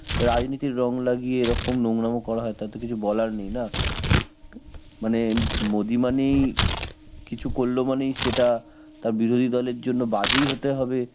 রাজনীতির রং লাগিয়ে এরকম নোংরাম করা হয়, তালে তো কিছু বলার নেই না. ম~ মানে অ্যাঁ মোদি মানেই কিছু করলো মানেই সেটা তার বিরোধী দলের জন্য বাজেই হতে হবে,